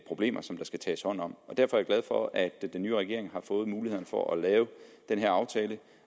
problemer som der skal tages hånd om derfor er jeg glad for at den nye regering har fået mulighederne for at lave den her aftale